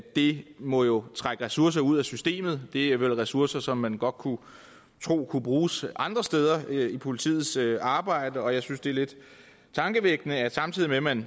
det må jo trække ressourcer ud af systemet og det er vel ressourcer som man godt kunne tro kunne bruges andre steder i politiets arbejde jeg synes det er lidt tankevækkende at samtidig med at man